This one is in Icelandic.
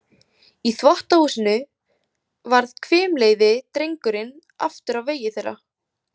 Í þvottahúsinu varð hvimleiði drengurinn aftur á vegi þeirra.